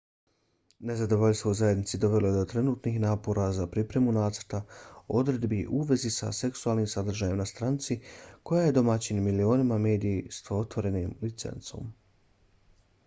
nezadovoljstvo u zajednici dovelo je do trenutnih napora za pripremu nacrta odredbi u vezi sa seksualnim sadržajem na stranici koja je domaćin milionima medija s otvorenom licencom